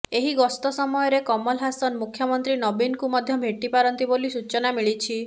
ଏହି ଗସ୍ତ ସମୟରେ କମଲ ହାସନ ମୁଖ୍ୟମନ୍ତ୍ରୀ ନବୀନଙ୍କୁ ମଧ୍ୟ ଭେଟିପାରନ୍ତି ବୋଲି ସୂଚନା ମିଳିଛି